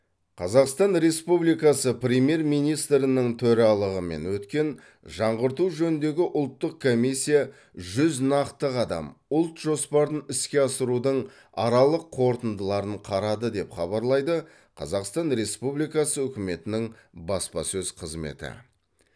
қазақстан республикасы премьер министрінің төралығымен өткен жаңғырту жөніндегі ұлттық комиссия жүз нақты қадам ұлт жоспарын іске асырудың аралық қорытындыларын қарады деп хабарлайды қазақстан республикасы үкіметінің баспасөз қызметі